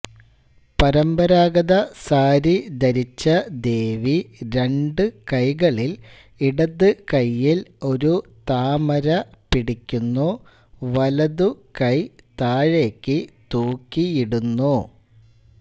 പരമ്പരാഗത സാരി ധരിച്ച ദേവി രണ്ട് കൈകളിൽ ഇടതുകൈയിൽ ഒരു താമര പിടിക്കുന്നു വലതു കൈ താഴേക്ക് തൂക്കിയിടുന്നു